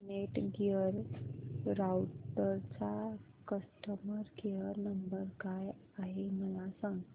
Netgear राउटरचा customer care number काय आहे मला सांग